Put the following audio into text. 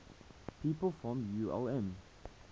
people from ulm